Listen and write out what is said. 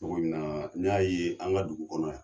Cogo min na n y'a ye an ka dugu kɔnɔ yan.